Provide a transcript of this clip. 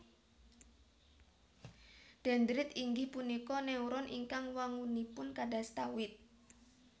Dendrit inggih punika neuron ingkang wangunipun kadasta wit